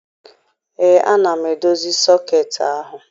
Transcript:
Ee, ana m edozi sọketị ahụ.